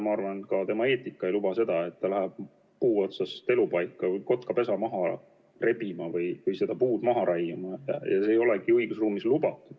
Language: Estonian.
Ma arvan, et tema eetika ei luba seda, et ta läheb puu otsast kotkapesa maha rebima või seda puud maha raiuma, ja see ei ole õigusruumis ka lubatud.